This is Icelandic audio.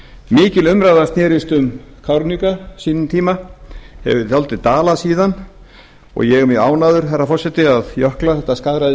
mikil umræða snerist um kárahnjúka á sínum tíma hefur dálítið dalað síðan og ég er mjög ánægður herra forseti að jökla þetta